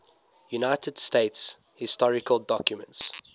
united states historical documents